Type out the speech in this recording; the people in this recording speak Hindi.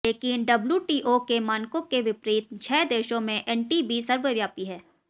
लेकिन डब्ल्यूटीओ के मानकों के विपरीत छह देशों में एनटीबी सर्वव्यापी हैं